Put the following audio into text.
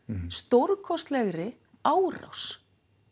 stórkostlegri árás